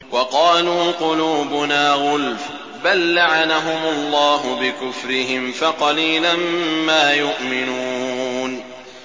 وَقَالُوا قُلُوبُنَا غُلْفٌ ۚ بَل لَّعَنَهُمُ اللَّهُ بِكُفْرِهِمْ فَقَلِيلًا مَّا يُؤْمِنُونَ